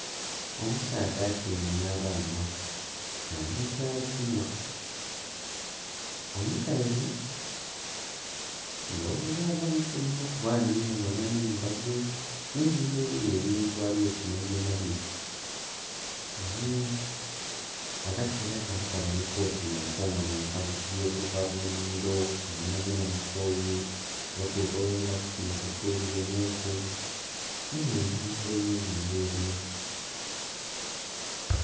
Omusaadha atyaime n'abaana alina kyali kunhwa, omukazi ndhowoza ava mu kulima kuba ndhi mubona n'embago n'einhuma eriyo ebintu ali oti nhaidhye nhabyo. Akaseera kano kaboneka oti nako nga mwakagya okuva mu nnhimiro nga mwenamwena mukoye, otuka oyenda kufuna ku tuudhi onhweku n'ebintuntu ebindhi nga ebyo.